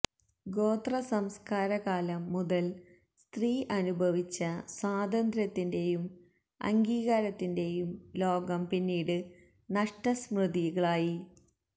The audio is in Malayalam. ഗോത്ര സംസ്കാര കാലം മുതല് സ്ത്രീ അനുഭവിച്ച സ്വാതന്ത്ര്യത്തിന്റെയും അംഗീകാരത്തിന്റെയും ലോകം പിന്നീട് നഷ്ടസ്മൃതികളായി